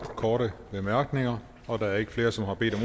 korte bemærkninger og der er ikke flere som har bedt om